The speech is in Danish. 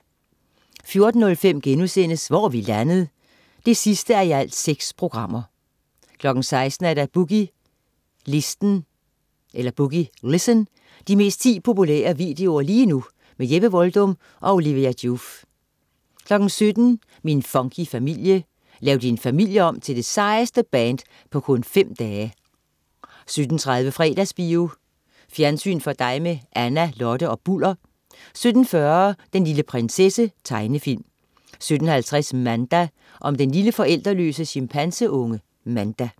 14.05 Hvor er vi landet? 6:6* 16.00 Boogie Listen. De 10 mest populære videoer lige nu. Jeppe Voldum og Olivia Joof 17.00 Min funky familie. Lav din familie om til det sejeste band på kun fem dage! 17.30 Fredagsbio. Fjernsyn for dig med Anna, Lotte og Bulder 17.40 Den lille prinsesse. Tegnefilm 17.50 Manda. Om den lille forældreløse chimpanseunge Manda